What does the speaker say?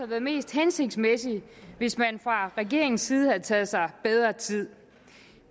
været mest hensigtsmæssigt hvis man fra regeringens side havde taget sig bedre tid